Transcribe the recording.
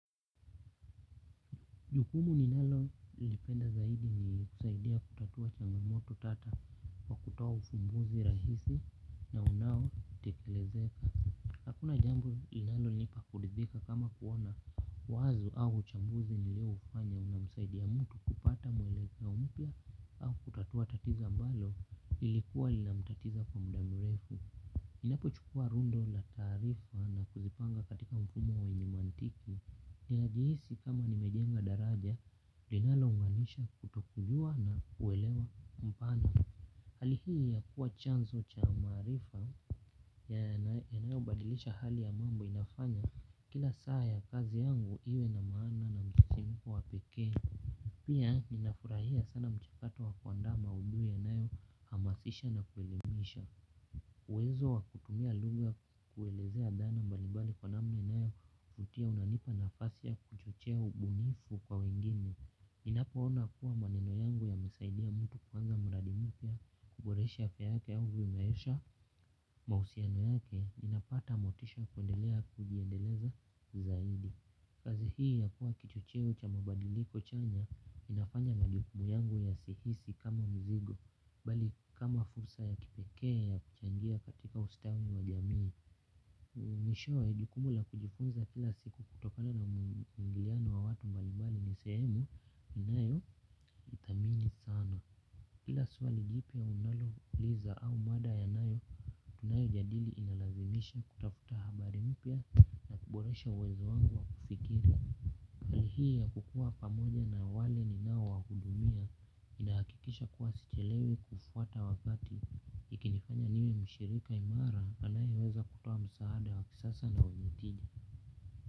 Jukumu ninalo lipenda zaidi nikusaidia kutatua changamoto tata kwa kutoa ufumbuzi rahisi na unao tekelezeka. Hakuna jambo ninalonipa kuridhika kama kuona wazu au chambuzi nilio ufanya una msaidia mtu kupata mwelekeo mpya au kutatua tatizo ambalo lilikuwa linamtatiza kwa mda mrefu. Inapo chukua rundo na taarifa na kuzipanga katika mfumo wenye imantiki. Ninajihisi kama nimejenga daraja, linalo unganisha kutokujua na kuelewa mpana. Hali hii ya kuwa chanzo cha maarifa yanayo badilisha hali ya mambo inafanya kila saa ya kazi yangu iwe na maana na mchechemko wa pekee. Pia ninafurahia sana mchikato wa kuandama maudui yanayo hamasisha na kuelimisha. Uwezo wakutumia lugha kuelezea dhana mbalibali kwa namna inayovutia unanipa nafasi ya kuchochea ubunifu kwa wengine. Ninapoona kuwa maneno yangu yamesaidia mtu kupanga mradi mpya kuboresha afya yake au kuendesha mahusiano yake ninapata motisha kuendelea kujiendeleza zaidi. Kazi hii ya kuwa kichocheo cha mabadiliko chanya inafanya majukumu yangu yasihisi kama mzigo bali kama fursa ya kipekee ya kuchangia katika ustawi wa jamii. Mwishowe jikumu la kujifunza kila siku kutokana na muingiliano wa watu mbalimbali ni sehemu inayo thamini sana kila swali jipia unalo liza au mada yanayo tunayo jadili inalazimisha kutafuta habari mpya. Kiboresha uwezo wangu wa kufikiri hii ya kukuwa pamoja na wale ninao wahudumia. Inahakikisha kuwa sichelewi kufuata wakati. Ikinifanya niwe mshirika imara anaeweza kutoa msaada wa kisasa na wenye tija.